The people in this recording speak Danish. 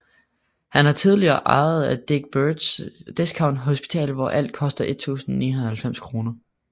Han er tidligere ejer af Dick Birds Discount Hospital hvor alt koster 1099 kr